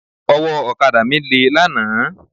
Ọwọ́ ọ̀kadà mi lé lánàá.